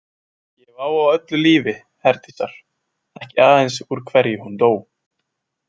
Ég hef áhuga á öllu lífi Herdísar, ekki aðeins úr hverju hún dó.